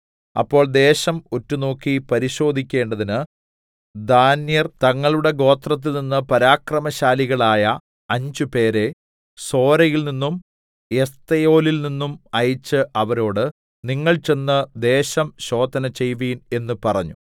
അപ്പോൾ ദേശം ഒറ്റുനോക്കി പരിശോധിക്കേണ്ടതിന് ദാന്യർ തങ്ങളുടെ ഗോത്രത്തിൽനിന്ന് പരാക്രമശാലികളായ അഞ്ചുപേരെ സോരയിൽനിന്നും എസ്തായോലിൽ നിന്നും അയച്ച് അവരോട് നിങ്ങൾ ചെന്ന് ദേശം ശോധന ചെയ്യുവിൻ എന്ന് പറഞ്ഞു